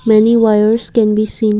many wires can be seen.